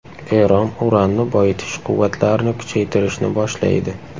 Eron uranni boyitish quvvatlarini kuchaytirishni boshlaydi.